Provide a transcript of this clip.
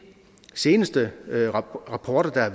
seneste rapporter der har